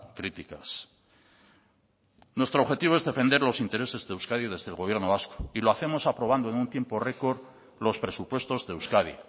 críticas nuestro objetivo es defender los intereses de euskadi desde el gobierno vasco y lo hacemos aprobando en un tiempo récord los presupuestos de euskadi